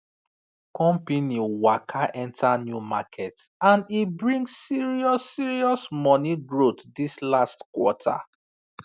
company waka enter new market and e bring serious serious money growth this last quarter